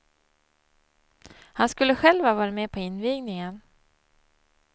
Han skulle själv ha varit med på invigningen.